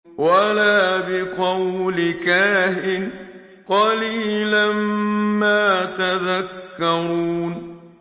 وَلَا بِقَوْلِ كَاهِنٍ ۚ قَلِيلًا مَّا تَذَكَّرُونَ